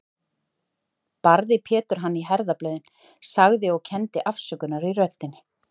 Barði Pétur hann í herðablöðin, sagði, og kenndi afsökunar í röddinni